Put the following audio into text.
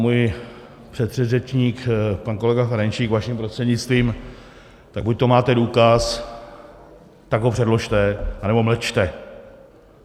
Můj předřečník, pan kolega Ferjenčík vaším prostřednictvím, tak buďto máte důkaz, tak ho předložte, anebo mlčte.